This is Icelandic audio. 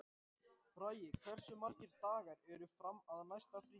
Bragi, hversu margir dagar fram að næsta fríi?